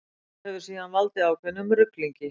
Þetta hefur síðan valdið ákveðnum ruglingi.